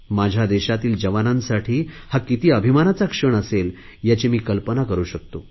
माझ्या देशातील जवानांसाठी हा किती अभिमानाचा क्षण असेल याची मी कल्पना करु शकतो